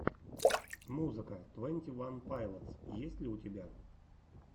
музыка твенти ван пайлотс есть ли у тебя